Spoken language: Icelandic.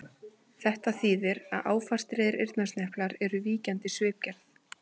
Þetta þýðir að áfastir eyrnasneplar eru víkjandi svipgerð.